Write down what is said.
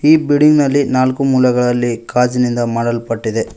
ಈ ಬಿಲ್ಡಿಂಗ್ ನಲ್ಲಿ ನಾಲ್ಕು ಮೂಲೆಗಳಲ್ಲಿ ಗಾಜಿನಿಂದ ಮಾಡಲ್ಪಟ್ಟಿದೆ.